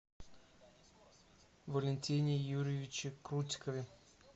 валентине юрьевиче крутикове